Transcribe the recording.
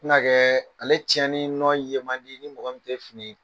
ale tiɲɛɲɛnni nɔ ye man di ni mɔgɔ tɛ fini